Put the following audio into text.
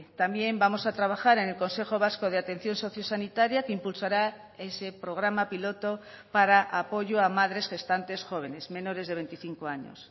también vamos a trabajar en el consejo vasco de atención sociosanitaria que impulsará ese programa piloto para apoyo a madres gestantes jóvenes menores de veinticinco años